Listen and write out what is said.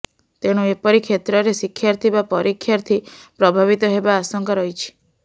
ତେଣୁ ଏପରି କ୍ଷେତ୍ର୍ରରେ ଶିକ୍ଷାର୍ଥୀ ବା ପରୀକ୍ଷାର୍ଥୀ ପ୍ରଭାବିତ ହେବା ଆଶଙ୍କା ରହିଛି